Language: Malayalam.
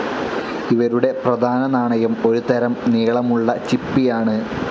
ഇവരുടെ പ്രധാന നാണയം ഒരുതരം നീളമുള്ള ചിപ്പിയാണ്.